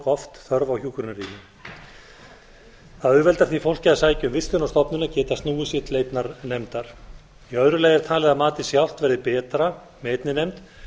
oft þörf á hjúkrunarrými það auðveldar því fólki að sækja um vistun á stofnun að geta snúið sér til einnar nefndar í öðru lagi er talið að matið sjálft verði betra með einni nefnd